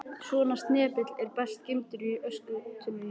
Svona snepill er best geymdur í öskutunnunni.